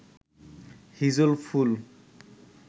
হিজল ফুল